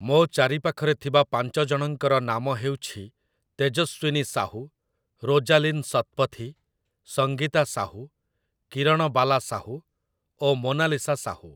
ମୋ ଚାରିପାଖରେ ଥିବା ପାଞ୍ଚ ଜଣଙ୍କର ନାମ ହେଉଛି ତେଜସ୍ୱିନୀ ସାହୁ, ରୋଜାଲିନ ଶତପଥୀ, ସଙ୍ଗୀତା ସାହୁ, କିରଣବାଲା ସାହୁ ଓ ମୋନାଲିସା ସାହୁ ।